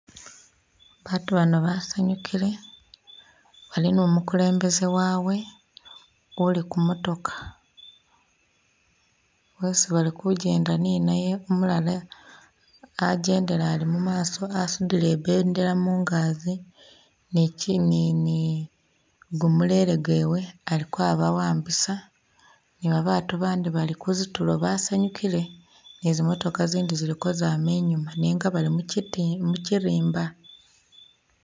Baatu bano basanyukile, bali ni umukulembese wawe uli ku motoka. Wezi bali kugyenda ninaye umulala agyendele ali mumaso asundile i'bendela mungagyi ni kyimimi gumulele gwewe ali kwaba'ambisa ni babaatu bandi bali kuzitulo basanyukile ni zimotoka zindi zili kwama inyuma nenga bati mu kyiti mu kyirimba.